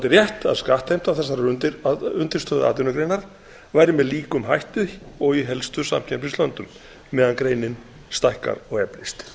rétt að skattheimta þessarar undirstöðuatvinnugreinar væri með líkum hætti og í helstu samkeppnislöndum meðan greinin stækkar og eflist